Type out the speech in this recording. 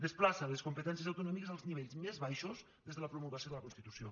desplaça les competències autonòmiques als nivells més baixos des de la promulgació de la constitució